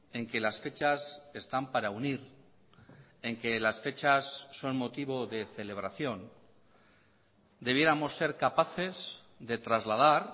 en que las fechas están para unir en que las fechas son motivo de celebración debiéramos ser capaces de trasladar